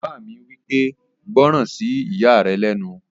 Bàbá mi wí pé, "gbọ́ràn sí ìyá rẹ lẹ́nu!"